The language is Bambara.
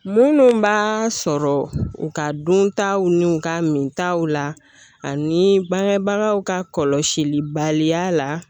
Minnu b'a sɔrɔ u ka duntaw ni u ka min taw la ani bangebagaw ka kɔlɔsilibaliya la